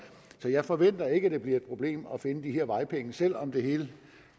så jeg forventer ikke at det bliver et problem at finde de vejpenge selv om det hele